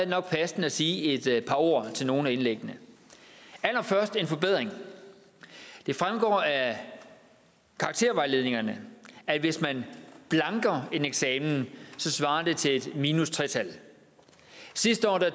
nok passende at sige et par ord til nogle af indlæggene allerførst en forbedring det fremgår af karaktervejledningerne at hvis man blanker en eksamen svarer det til et tal minus tredje sidste år